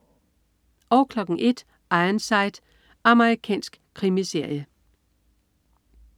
01.00 Ironside. Amerikansk krimiserie